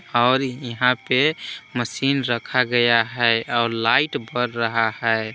और यहां पे मशीन रखा गया है और लाइट बर रहा है।